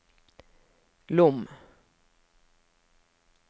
Lom